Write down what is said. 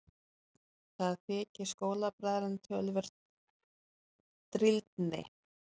Það þykir skólabræðrunum töluverð drýldni.